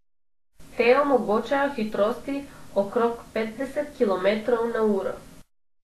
Te omogočajo hitrosti okrog petdeset kilometrov na uro.